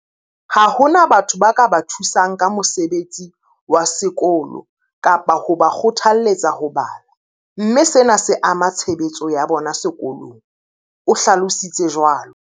Ha hona batho ba ka ba thusang ka mosebetsi wa sekolo kapa ho ba kgothalletsa ho bala, mme sena se ama tshebetso ya bona sekolong, o hlalo sitse jwalo.